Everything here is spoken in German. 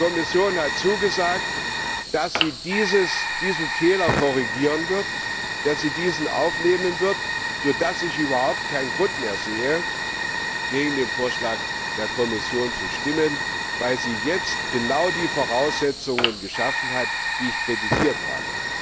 Die Kommission hat zugesagt, dass sie diesen Fehler korrigieren wird, dass sie diesen aufnehmen wird, sodass ich überhaupt keinen Grund mehr sehe, gegen den Vorschlag der Kommission zu stimmen, weil sie jetzt genau die Voraussetzungen geschaffen hat, deren Fehlen ich kritisiert habe.